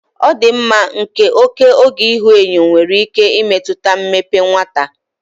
Ọdịmma nke oke oge ihuenyo nwere ike imetụta mmepe nwata.